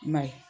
I m'a ye